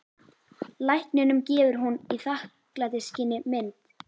Lækninum gefur hún í þakklætisskyni mynd.